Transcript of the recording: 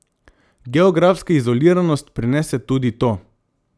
Geografska izoliranost prinese tudi to.